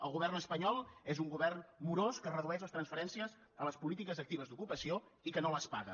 el govern espanyol és un govern morós que redueix les transferències a les polítiques actives d’ocupació i que no les paga